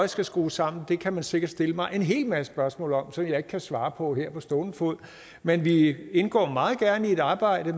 skal skrues sammen kan man sikkert stille mig en hel masse spørgsmål om som jeg ikke kan svare på på stående fod men vi indgår meget gerne i et arbejde